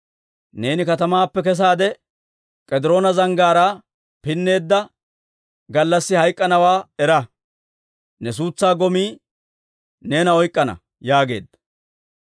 Neeni katamaappe kesaade, K'ediroona Zanggaaraa pinneedda gallassi hayk'k'anawaa era. Ne suutsaa gomii neena oyk'k'ana» yaageedda.